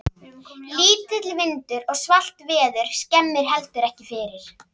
Lítill vindur og svalt veður skemmir heldur ekki fyrir.